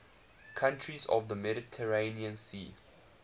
countries of the mediterranean sea